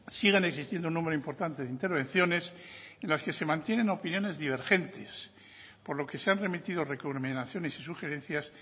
siguen existiendo un número importante de intervenciones en las que se mantienen opiniones divergentes por lo que se han remitido recomendaciones y sugerencias